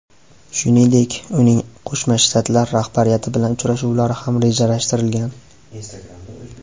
Shuningdek, uning Qo‘shma Shtatlar rahbariyati bilan uchrashuvlari ham rejalashtirilgan.